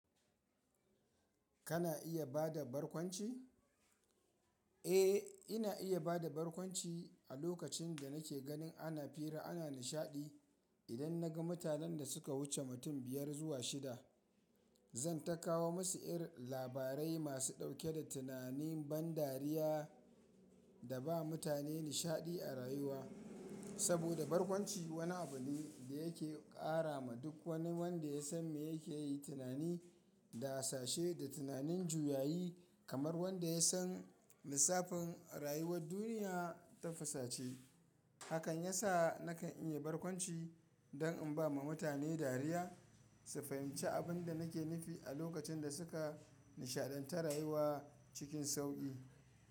Kana iya ba da barkwanci? Eh, ina iya ba da barkwanci a lokacin da nake ganin ana fira ana nishaɗi. Idan na ga mutanen da suka wuce mutum biyar zuwa shida, zan takawo musu irin labarai masu ɗauke da tunanin ban dariya da ba mutane nishaɗi a rayuwa. Saboda barkwanci wani abu ne da yake ƙara ma duk wani wanda ya san me yake yi tunani da hasashe da tunanin juyayi kamar wanda ya san lissafin rayuwar duniya tafasa ce. Hakan ya sa nakan iya barkwanci don in ba ma mutane dariya su fahimci abin da nake nufi a lokacin da suka nishaɗantar rayuwa cikin sauƙi.